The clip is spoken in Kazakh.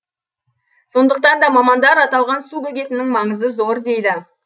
сондықтан да мамандар аталған су бөгетінің маңызы зор дейді